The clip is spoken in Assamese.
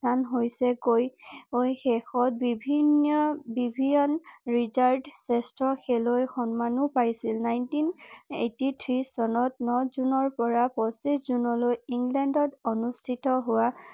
শেষত বিভিন্ন জেষ্ঠ্য খেলুৱৈ সন্মানো পাইছিল নাইনটিন এইটটি থ্ৰি চনত ন জুনৰ পৰা পঁচিশ জুনলৈ ইংলেণ্ডত অনুষ্ঠিত হোৱা